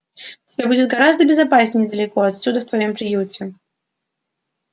всё будет гораздо безопаснее далеко отсюда в твоём приюте